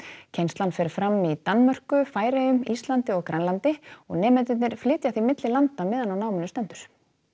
kennslan fer fram í Danmörku Færeyjum Íslandi og Grænlandi og nemendurnir flytja því milli landa meðan á námi stendur